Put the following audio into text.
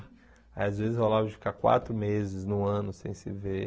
Aí às vezes rolava de ficar quatro meses no ano sem se ver.